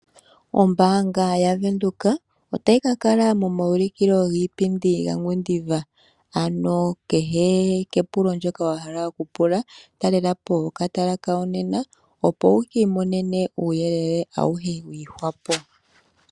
Ombaanga yaVenduka otayi ka kala momaulukilo giipundi yaNgwediva ano kehe kepulo lyoye wa hala okupula , talela po okatala kayo nena opo wu kiimonene uuyelele auhe wiihwa po.